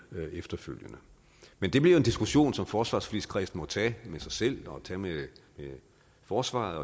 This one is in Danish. efterfølgende men det bliver en diskussion som forsvarsforligskredsen må tage med sig selv og tage med forsvaret